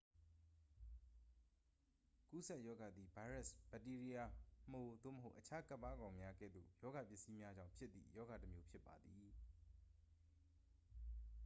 ကူးစက်ရောဂါသည် ဗိုင်းရပ်စ် ဘက်တီးရီးယား မှို သို့မဟုတ် အခြား ကပ်ပါးကောင်းများ ကဲ့သို့ ရောဂါပစ္စည်းများကြောင့် ဖြစ်သည့် ရောဂါတစ်မျိုး ဖြစ်ပါသည်